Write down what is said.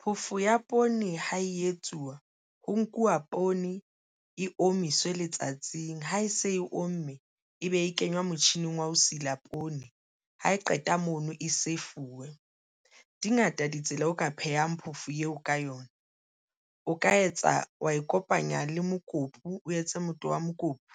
Phoofo ya poone ha e etsuwa ho nkuwa poone e omiswe letsatsing ha e se e omme e be e kenywa motjhining wa ho sila poone. Ha e qeta mono e se fuwe dingata ditsela o ka phehang phoofo eo ka yona o ka etsa wa ikopanya le mokopu, o etse motoho wa mokopu